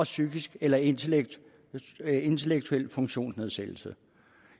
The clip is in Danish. psykisk eller intellektuel intellektuel funktionsnedsættelse